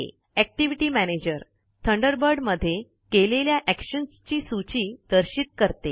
activity manager Thunderbird मध्ये केलेल्या actions ची सूची दर्शित करते